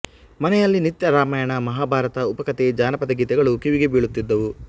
ಮನೆಯಲ್ಲಿ ನಿತ್ಯ ರಾಮಾಯಣ ಮಹಾಭಾರತ ಉಪಕಥೆ ಜಾನಪದ ಗೀತಗಳು ಕಿವಿಗೆ ಬೀಳುತಿದ್ದವು